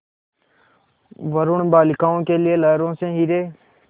वरूण बालिकाओं के लिए लहरों से हीरे